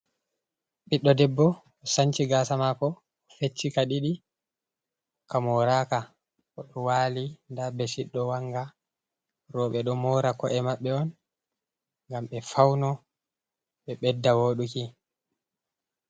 Ɓiɗɗo debbo sanci gasa mako, feccika ɗiɗi, ka moraka, oɗo wali nda beshit ɗo wanga. Roɓe ɗo mora ko'e maɓɓe on ngam ɓe fauno ɓe ɓedda woɗuki.